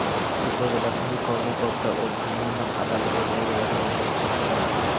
উপজেলা ভূমি কর্মকর্তা ও ভ্রাম্যমাণ আদালতের নির্বাহী ম্যাজিস্ট্রেট মো